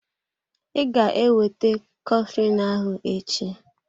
I ga-ewete coflin ahụ echi?